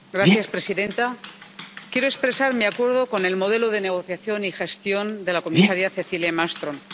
Señora presidenta, quiero expresar mi acuerdo con el modelo de negociación y gestión de la comisaria Cecilia Malmström.